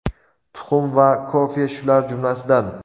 tuxum va kofe shular jumlasidan.